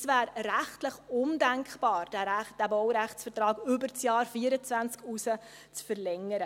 Es wäre rechtlich undenkbar, diesen Baurechtsvertrag über das Jahr 2024 hinaus zu verlängern.